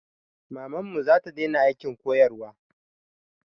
Mamanmu zata daina aikin koyarwa